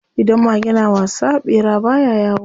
Idan mage na wasa, ɓera baya yawo.